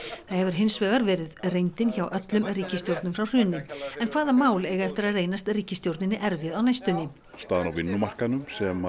það hefur hins vegar verið reyndin hjá öllum ríkisstjórnum frá hruni en hvaða mál eiga eftir að reynast ríkisstjórninni erfið á næstunni staðan á vinnumarkaðnum